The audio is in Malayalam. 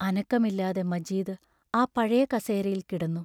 അനക്കമില്ലാതെ മജീദ് ആ പഴയ കസേരയിൽ കിടന്നു.